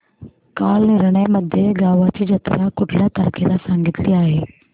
कालनिर्णय मध्ये गावाची जत्रा कुठल्या तारखेला सांगितली आहे